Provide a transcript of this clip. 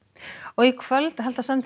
í kvöld halda samtökin